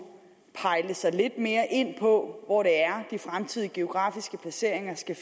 pejle sig lidt mere ind på hvor de fremtidige geografiske placeringer skal